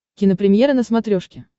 кинопремьера на смотрешке